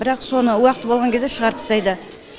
бірақ соны уақыты болған кезде шығарып тастайды